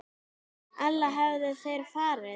Ella hefðu þeir farið.